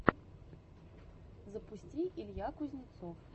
запусти илья кузнецов